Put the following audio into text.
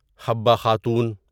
Habba Khatoon